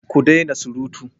Ku dena surutu!